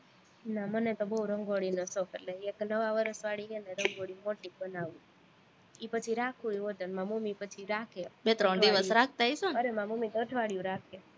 ના મને તો બોવ રંગોળીનો શોખ એટલે એક નવા વર્ષ વાળી છે ને રંગોળી મોટી જ બનાવું, ઈ પછી રાખું ય હોતે, મારી મમ્મી પછી રાખે અરે મારી મમ્મી અઠવાડિયું રાખે